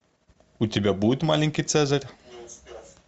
у тебя будет маленький цезарь